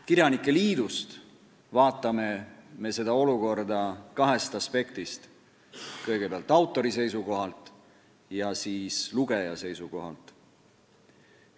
Kirjanike liidus vaatame me seda olukorda kahest aspektist: kõigepealt autori seisukohalt ja siis lugeja seisukohalt.